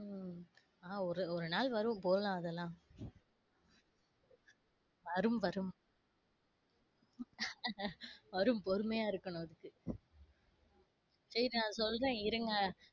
உம் அ ஒரு ஒரு நாள் வரும் போலாம் அதுல்லாம். வரும், வரும் வரும் பொறுமையா இருக்கனும்அதுக்கு சரி நான் சொல்றேன் இருங்க.